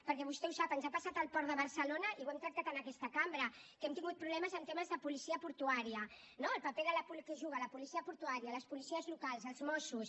perquè vostè ho sap ens ha passat al port de barcelona i ho hem tractat en aquesta cambra que hem tingut problemes en temes de policia portuària no el paper que juga la policia portuària les policies locals els mossos